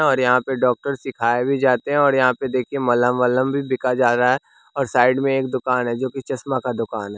और यहाँ पे डॉक्टर सिखाए भी जाते है और यहाँ पे देखिए मलहम-वहलम भी बिका जा रहा है और साइड में एक दुकान है जो कि चश्मा का दुकान है।